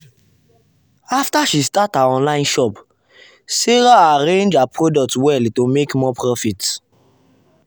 after she start her online shop sarah arrange her product well to make more profit.